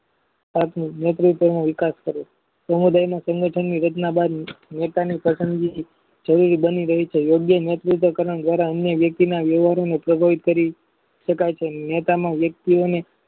આથી metriko નો વિકાસ કરે છે સમુદાયના સંગાથની રચના વેપારની પસંદગી બની રહે છે યોગ્ય મજબૂતાઈ દ્વારા અન્ય વ્યક્તિ ના વ્યવહારમાં કરી શકાય છે નેતાના વ્યક્તિઓને